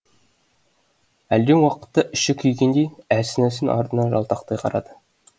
әлден уақытта іші күйгендей әлсін әлсін артына жалтақтай қарады